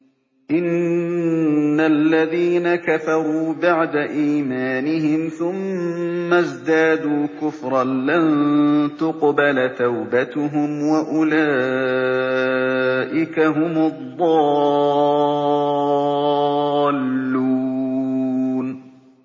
إِنَّ الَّذِينَ كَفَرُوا بَعْدَ إِيمَانِهِمْ ثُمَّ ازْدَادُوا كُفْرًا لَّن تُقْبَلَ تَوْبَتُهُمْ وَأُولَٰئِكَ هُمُ الضَّالُّونَ